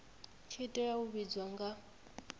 tshi oa u ivhadzwa nga